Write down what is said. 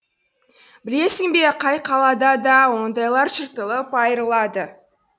білесің бе қай қалада да ондайлар жыртылып айырылады